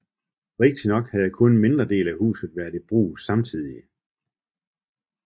Rigtignok havde kun en mindre del af huset været i brug samtidig